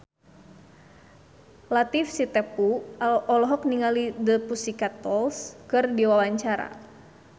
Latief Sitepu olohok ningali The Pussycat Dolls keur diwawancara